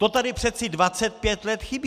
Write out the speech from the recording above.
To tady přece 25 let chybí!